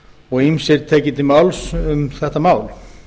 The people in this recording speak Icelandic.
og ýmsir tekið til máls um þetta mál